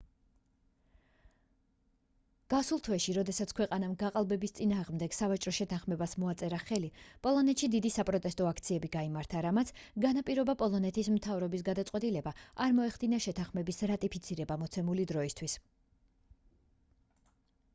გასულ თვეში როდესაც ქვეყანამ გაყალბების წინააღმდეგ სავაჭრო შეთანხმებას მოაწერა ხელი პოლონეთში დიდი საპროტესტო აქციები გაიმართა რამაც განაპირობა პოლონეთის მთავრობის გადაწყვეტილება არ მოეხდინა შეთანხმების რატიფიცირება მოცემული დროისთვის